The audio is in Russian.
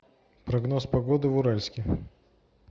прогноз погоды в уральске